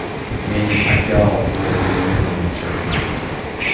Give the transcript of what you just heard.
Menni Pakyao Floyd Meyvezerni jangga chorladi.